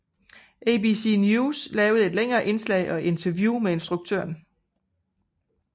ABC News lavede et længere indslag og interview med instruktøren